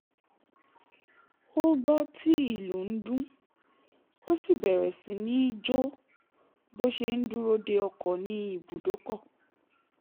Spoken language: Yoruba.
ó gbọ́ tí ìlù ń dún ó sì bẹ̀rẹ̀ sí ní jo bó ṣe ń dúró de ọkọ̀ ní ibùdókọ̀